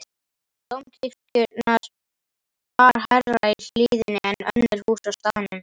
Dómkirkjuna bar hærra í hlíðinni en önnur hús á staðnum.